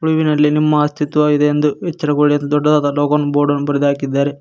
ವಿನಲ್ಲಿ ನಿಮ್ಮ ಅಸ್ತಿತ್ವವಿದೆಯೆಂದು ಎಚ್ಚರಗೊಳ್ಳಿ ಎಂದು ದೊಡ್ಡದಾದ ಲೋಗೋವನ್ನು ಬೋರ್ಡನ್ನು ಬರೆದು ಹಾಕಿದ್ದಾ--